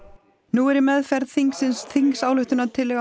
nú er í meðferð þingsins þingsályktunartillaga